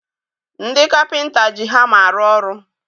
Ndị kapịnta ji hama arụ ọrụ